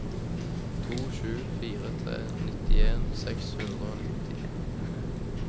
to sju fire tre nittien seks hundre og nitti